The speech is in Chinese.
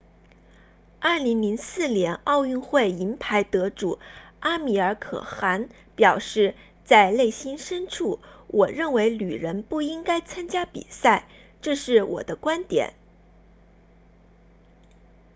2004年奥运会银牌得主阿米尔可汗 amir khan 表示在内心深处我认为女人不应该参加比赛这是我的观点